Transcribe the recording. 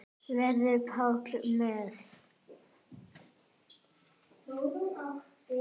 Verður Pála með?